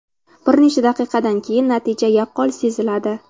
Bir necha daqiqadan keyin natija yaqqol seziladi.